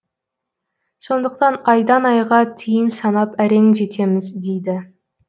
сондықтан айдан айға тиын санап әрең жетеміз дейді